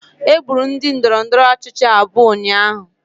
Egburu ndị ndọrọndọrọ ọchịchị abụọ ụnyahụ